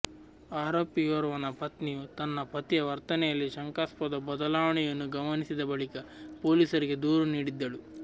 ಆರೋಪಿಯೋರ್ವನ ಪತ್ನಿಯು ತನ್ನ ಪತಿಯ ವರ್ತನೆಯಲ್ಲಿ ಶಂಕಾಸ್ಪದ ಬದಲಾವಣೆಯನ್ನು ಗಮನಿಸಿದ ಬಳಿಕ ಪೊಲೀಸರಿಗೆ ದೂರು ನೀಡಿದ್ದಳು